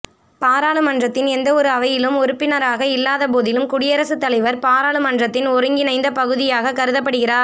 பாராளுமன்றத்தின் எந்தவொரு அவையிலும் உறுப்பினராக இல்லாத போதிலும் குடியரசுத்தலைவர் பாராளுமன்றத்தின் ஒருங்கிணைந்த பகுதியாக கருதப்படுகிறார்